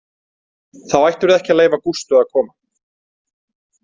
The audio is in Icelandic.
Þá ættirðu ekki að leyfa Gústu að koma.